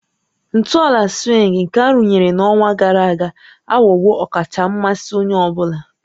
Ntọala swing nke arụnyere n'ọnwa gara aga aghọwo ọkacha mmasị onye ọ bụla